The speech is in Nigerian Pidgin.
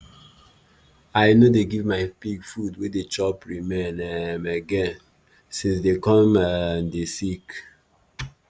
i no dey give my pig food wey dey chop remain um again since dey come um dey sick